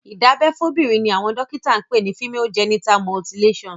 ìdábẹ́ fóbìnrin ni àwọn dọ́kíta ń pè ni Female genital mutilation.